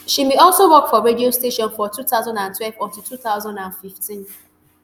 she bin also work for radio station from two thousand and twelve until two thousand and fifteen